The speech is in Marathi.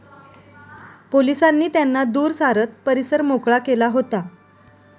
पोलिसांनी त्यांना दूर सारत परिसर मोकळा केला होता.